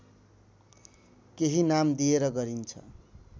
केही नाम दिएर गरिन्छ